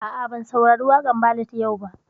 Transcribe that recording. A'a, ban saurari waƙan ballad yau ba